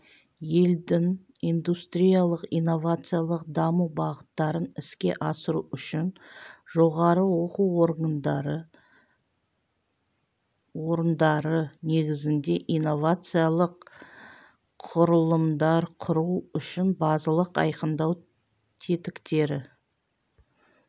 елдің индустриялық-инновациялық даму бағыттарын іске асыру үшін жоғары оқу орындары негізінде инновациялық құрылымдар құру үшін базалық айқындау тетіктері